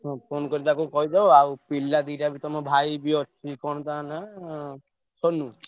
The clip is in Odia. ହୁଁ phone କରି ତାକୁ କହିଦବ। ପିଲା ଦିଟା ବି ତମ ଭାଇ ବି ଅଛି, କଣ ତାଙ୍କ ନାଁ ସୋନୁ?